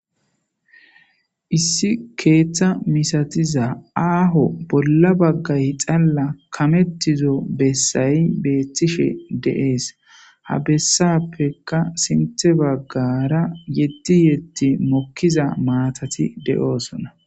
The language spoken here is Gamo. Issi keeththa misathiza aaho bolla bagga xallay kameththizo bessay beeththishe de7ees; ha bessaappekka sinththe baggaara yeddi yeddi mokkiza maathathi de7oosona.